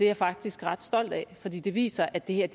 jeg faktisk ret stolt af fordi det viser at det her